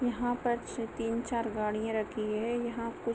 यहाँ पर ची तीन चार गाड़ियां रखी हैं यहां कुछ--